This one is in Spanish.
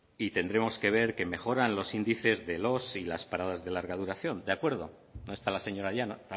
y tendremos que ver que mejoran los índices de los y las paradas de larga duración de acuerdo no está la señora llanos